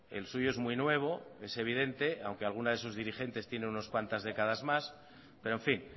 el suyo es muy nuevo es evidente aunque alguna de sus dirigentes tiene unas cuantas décadas más pero en fin